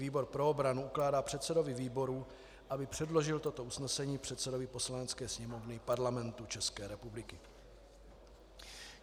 Výbor pro obranu ukládá předsedovi výboru, aby předložil toto usnesení předsedovi Poslanecké sněmovny Parlamentu České republiky.